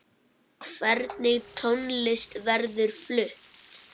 Hvernig tónlist verður flutt?